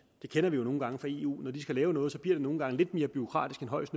det kender vi jo nogle gange fra eu når de skal lave noget bliver det nogle gange lidt mere bureaukratisk end højst